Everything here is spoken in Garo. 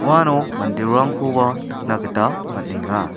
uano manderangkoba nikna gita man·enga.